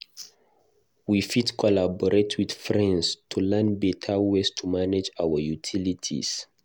We fit collaborate with friends to learn beta ways to manage our utilities.